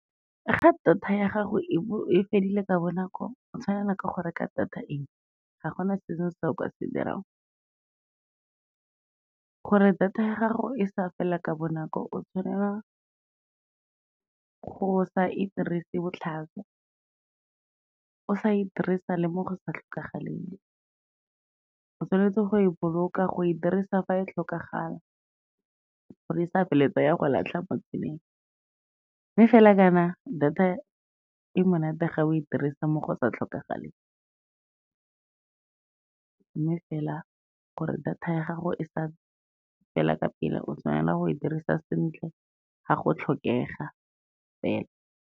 Ga data ya gago e fedile ka bonako, o tshwanelwa ke go reka data engwe, ga gona se sengwe se o ka se dirang. Gore data ya gago e sa fela ka bonako, o tshwanela go sa e dirisi botlhaswa, o sa e dirisa le mo go sa tlhokagaleng, o tshwanetse go e boloka, go e dirisa fa e tlhokagala gore e sa ya go latlha mo tseleng. Mme fela jaana, data e monate ga o e dirisa mo go sa tlhokagaleng, mme fela gore data ya gago e sa fela ka pela, o tshwanela go e dirisa sentle ga go tlhokega fela.